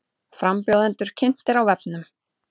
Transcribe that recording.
Frambjóðendur kynntir á vefnum